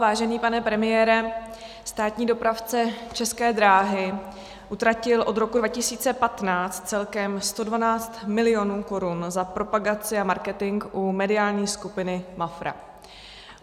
Vážený pane premiére, státní dopravce České dráhy utratil od roku 2015 celkem 112 mil. korun za propagaci a marketing u mediální skupiny Mafra.